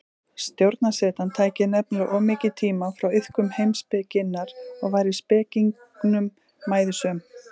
Stjórnarsetan tæki nefnilega of mikinn tíma frá iðkun heimspekinnar og væri spekingnum mæðusöm.